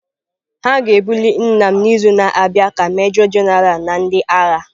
The ga-ebuli nna m n'izu na-abịa ka Major-General na ndị agha.